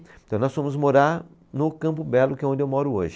Então nós fomos morar no Campo Belo, que é onde eu moro hoje.